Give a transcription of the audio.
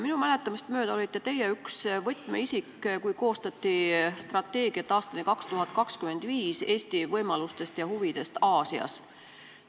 Minu mäletamist mööda olite teie üks võtmeisik, kui koostati strateegiat Eesti võimalustest ja huvidest Aasias aastani 2025.